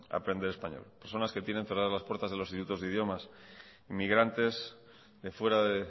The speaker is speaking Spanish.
aprender español personas que tienen cerradas las puertas de los institutos de idiomas inmigrantes de fuera de